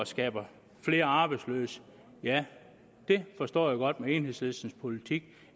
skaber flere arbejdsløse ja det forstår jeg godt med enhedslistens politik